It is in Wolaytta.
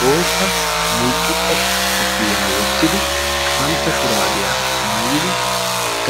Bootta mulxxuxxa koppiyyaa wottidi qantta shuraabiya mayidi